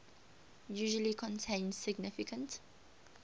usually contain significant